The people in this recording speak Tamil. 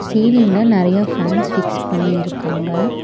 சீலிங்ல நறைய ஃபேன்ஸ் பிக்ஸ் பண்ணி இருக்காங்க.